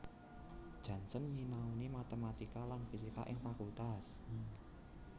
Janssen nyinaoni matematika lan fisika ing Fakultas